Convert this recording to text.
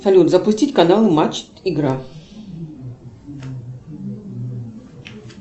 салют запустить канал матч игра